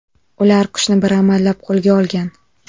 Ular qushni bir amallab qo‘lga olgan.